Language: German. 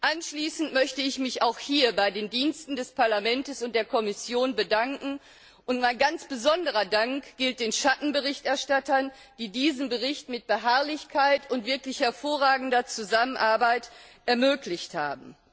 Abschließend möchte ich mich auch hier bei den Diensten des Parlaments und der Kommission bedanken, und mein ganz besonderer Dank gilt den Schattenberichterstattern, die diesen Bericht mit Beharrlichkeit und wirklich hervorragender Zusammenarbeit ermöglicht haben.